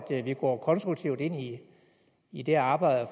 vi går konstruktivt ind i det arbejde